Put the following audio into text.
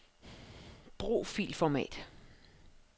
Brug filformat.